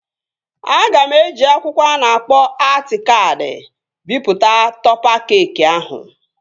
Aga m eji akwụkwọ a na-akpọ atị kaadị bipụta tọpa keekị ahụ